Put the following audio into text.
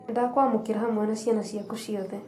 Nĩndakwamũkĩra hamwe na ciana ciaku ciothe